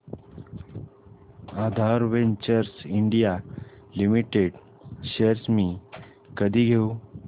आधार ventures India limited shares मी कधी घेऊ